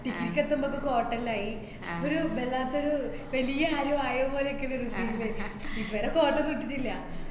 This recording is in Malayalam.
degree ക്കെത്തുമ്പോ coat എല്ലായി. ഒരു ബല്ലാത്തൊരു വലിയ ആരോ ആയപോലെക്കെള്ളൊരു feel അയി. ഇതുവരെ coat ഒന്നും ഇട്ടിട്ടില്ല.